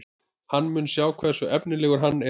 Hann mun sjá hversu efnilegur hann er.